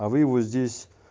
а вы его здесь